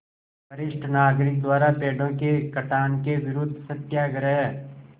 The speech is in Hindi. वरिष्ठ नागरिक द्वारा पेड़ों के कटान के विरूद्ध सत्याग्रह